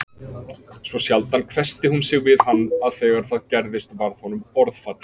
Svo sjaldan hvessti hún sig við hann að þegar það gerðist varð honum orðfall